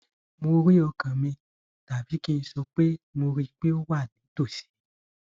mo rí ọkàn mi tàbí kí n sọ pé mo rí i pé ó wà nítòsí